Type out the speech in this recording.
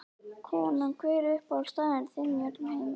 Konan Hver er uppáhaldsstaðurinn þinn í öllum heiminum?